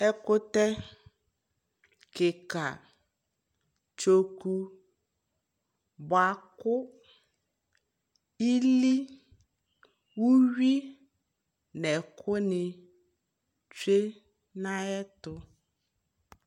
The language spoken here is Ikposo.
ɛkʋtɛ kika tsɔkʋ bʋakʋ ili ʋwi nʋ ɛkʋ ni twɛ nʋ ayɛtʋ